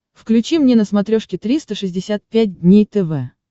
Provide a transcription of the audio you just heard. включи мне на смотрешке триста шестьдесят пять дней тв